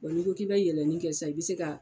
n'i ko k'i bɛ yɛlɛni kɛ sisan i bɛ se ka